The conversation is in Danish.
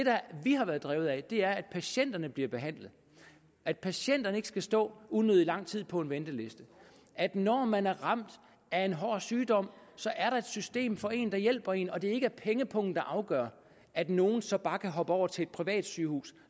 vi har været drevet af er at patienterne bliver behandlet at patienterne ikke skal stå unødig lang tid på en venteliste at når man er ramt af en hård sygdom så er der et system for en der hjælper en og at det ikke er pengepungen der afgør at nogle så bare kan hoppe over til et privat sygehus